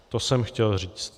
To jsem chtěl říct.